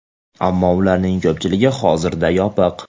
Ammo ularning ko‘pchiligi hozirda yopiq.